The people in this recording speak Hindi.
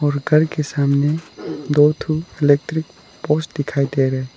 और घर के सामने इलेक्ट्रिक पोस्ट दिखाई दे रहे।